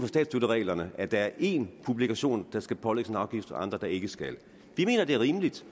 statsstøttereglerne at der er én publikation der skal pålægges en afgift og andre der ikke skal vi mener at det er rimeligt